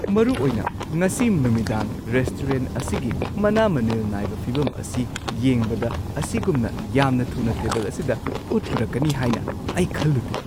ꯃꯔꯨꯑꯣꯏꯅ ꯉꯁꯤ ꯅꯨꯃꯤꯗꯥꯡ ꯔꯦꯁꯇꯨꯔꯦꯟꯠ ꯑꯁꯤꯒꯤ ꯃꯅꯥ-ꯃꯅꯤꯜ ꯅꯥꯏꯕ ꯐꯤꯚꯝ ꯑꯁꯤ ꯌꯦꯡꯕꯗ, ꯑꯁꯤꯒꯨꯝꯅ ꯌꯥꯝꯅ ꯊꯨꯅ ꯇꯦꯕꯜ ꯑꯁꯤꯗ ꯄꯣꯠ ꯄꯨꯔꯛꯀꯅꯤ ꯍꯥꯏꯅ ꯑꯩ ꯈꯜꯂꯨꯗꯦ꯫